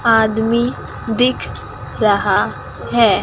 आदमी दिख रहा है।